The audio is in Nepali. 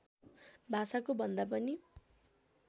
भाषाको भन्दा पनि